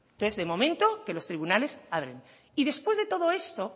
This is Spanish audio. entonces de momento que los tribunales hablen y después de todo esto